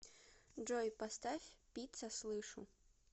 джой поставь пицца слышу